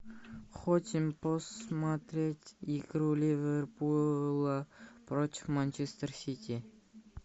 хотим посмотреть игру ливерпула против манчестер сити